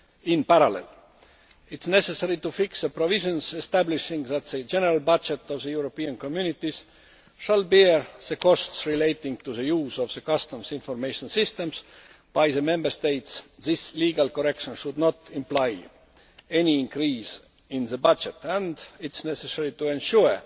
in parallel, and it is necessary to fix the provisions establishing that the general budget of the European Communities will bear the costs relating to the use of the Customs Information System by the Member States. This legal correction should not imply any increase in the budget, and it is necessary to ensure